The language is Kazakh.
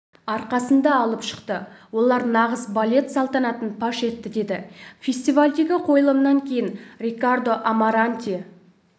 арқасында алып шықты олар нағыз балет салтанатын паш етті деді фестивальдегі қойылымнан кейін рикардо амаранте